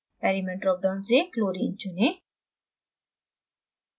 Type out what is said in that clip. element drop down से chlorine चुनें